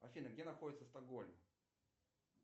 афина где находится стокгольм